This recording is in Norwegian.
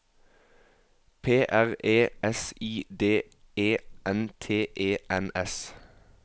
P R E S I D E N T E N S